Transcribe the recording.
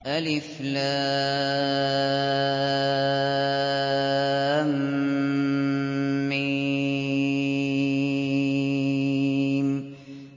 الم